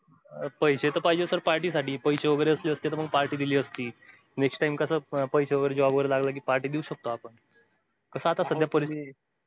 पैशे तर पाहिजे sir party साठी पैशे वैगेरे असते ते party दिली असती next time कस party देऊ शकतो आपण आता सध्या परिस्थिती